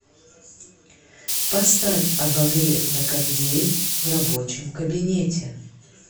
поставь обогрев на кондее в рабочем кабинете